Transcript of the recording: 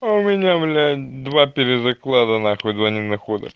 а у меня два перезаклада нахуй два ненахода